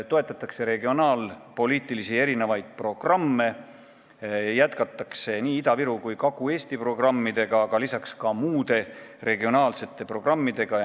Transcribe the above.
Toetatakse mitmeid regionaalpoliitilisi programme, jätkatakse nii Ida-Viru kui Kagu-Eesti programmi, aga ka muid regionaalseid programme.